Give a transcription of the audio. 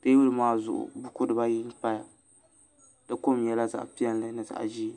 teebuli maa zuŋu buku dibayi n paya di kom nyɛla zaɣ piɛlli ni zaɣ ʒiɛ